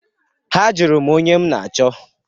Ha jụrụ m onye m na-achọ.